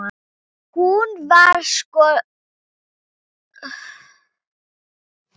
Hún var svona líka.